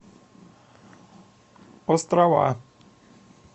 острова